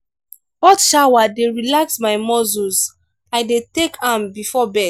hot shower dey relax my muscles i dey take am before bed.